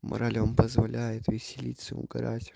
мораль вам позволяет веселиться угорать